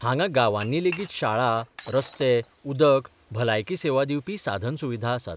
हांगां गावांनी लेगीत शाळा, रस्ते, उदक, भलायकी सेवा दिवपी साधनसुविधा आसात.